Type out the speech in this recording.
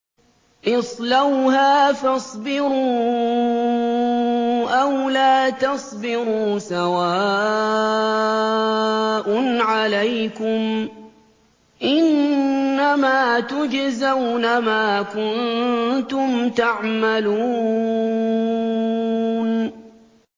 اصْلَوْهَا فَاصْبِرُوا أَوْ لَا تَصْبِرُوا سَوَاءٌ عَلَيْكُمْ ۖ إِنَّمَا تُجْزَوْنَ مَا كُنتُمْ تَعْمَلُونَ